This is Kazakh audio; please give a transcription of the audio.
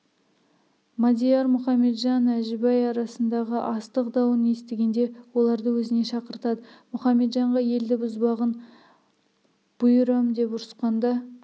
мадияр мұхаметжан әжібай арасындағы астық дауын естігенде оларды өзіне шақыртады мұхаметжанға елді бұзбағын бұйырам деп ұрысқанда